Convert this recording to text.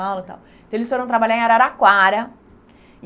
e tal. Então, eles foram trabalhar em Araraquara.